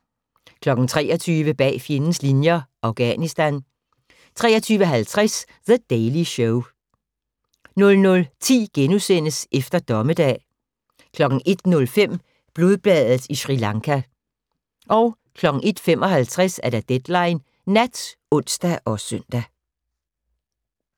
23:00: Bag fjendens linjer – Afghanistan 23:50: The Daily Show 00:10: Efter Dommedag * 01:05: Blodbadet i Sri Lanka 01:55: Deadline Nat (ons og søn)